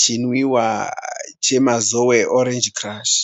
Chinwiwa cheMazoe Orange Crush.